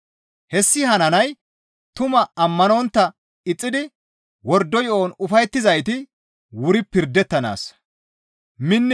Hessi hananay tumaa ammanontta ixxidi wordo yo7on ufayettizayti wuri pirdettanaassa.